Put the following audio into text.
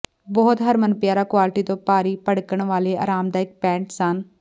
ਬਹੁਤ ਹਰਮਨਪਿਆਰਾ ਕੁਆਲਟੀ ਤੋਂ ਭਾਰੀ ਭੜਕਣ ਵਾਲੇ ਆਰਾਮਦਾਇਕ ਪੈਂਟ ਸਨ